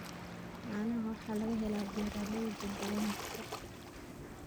Caanaha waxaa laga helaa beeralayda deegaanka.